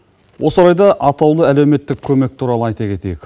осы орайда атаулы әлеуметтік көмек туралы айта кетейік